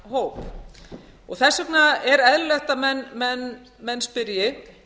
þennan hóp þess vegna er eðlilegt að menn spyrji